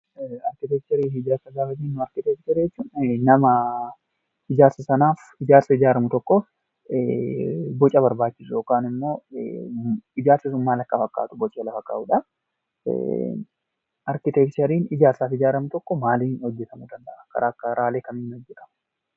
Arkiteekchariin nama ijaarsa ijaaramu tokkoof boca barbaachisu yookaan immoo ijaarsi sun maal akka fakkaatu bocee lafa kaa'udha. Arkiteekchariin ijaarsa tokkoo karaalee kamiin hojjatamuu danda'a?